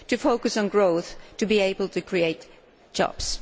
to focus on growth in order to be able to create jobs.